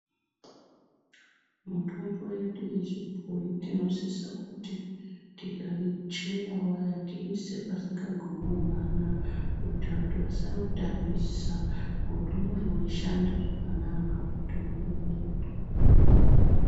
Mitombo yedu yechibhoyi tinosisa kuti tikaichera tiisewo masingagumiwo vana kuitira kuti vasautambisa ngekuti unozoshanda zvakanaka mutombo uwowo.